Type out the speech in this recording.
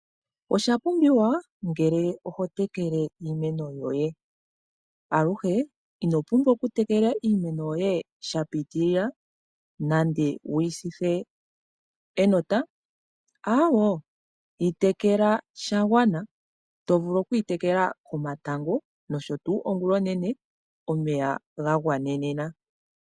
Oshapumbiwa ngele oho tekele iimeno yoye aluhe ino pumbwa wutekele iimeno yoye shapitilila nande wuyi sithe enota aawoo yitekela shagwana. To vulu okuyi tekela komatango nosho tuu ongula onene omeya gagwanenena.